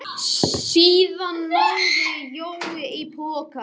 Það getur líka verið að hún hafi ekki nákvæmlega gert það sem hún lofaði mér.